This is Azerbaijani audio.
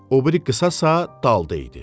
O biri qısasa dalda idi.